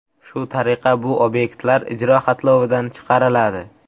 Shu tariqa bu obyektlar ijro xatlovidan chiqariladi.